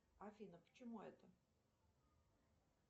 афина к чему это